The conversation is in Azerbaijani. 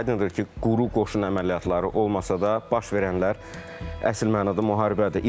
Aydındır ki, quru qoşun əməliyyatları olmasa da, baş verənlər əsl mənada müharibədir.